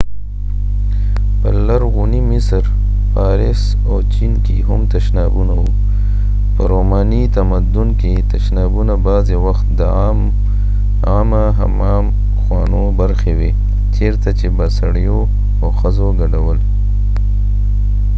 په لرغوني مصر فارس او چین کې هم تشنابونه و په روماني تمدن کې تشنابونه بعضې وخت د عامه حمام خونو برخې وې چیرته چې به سړیو او ښځو ګډ ول